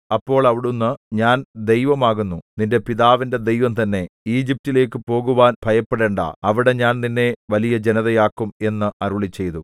അപ്പോൾ അവിടുന്ന് ഞാൻ ദൈവം ആകുന്നു നിന്റെ പിതാവിന്റെ ദൈവം തന്നെ ഈജിപ്റ്റിലേക്കു പോകുവാൻ ഭയപ്പെടേണ്ടാ അവിടെ ഞാൻ നിന്നെ വലിയ ജനതയാക്കും എന്ന് അരുളിച്ചെയ്തു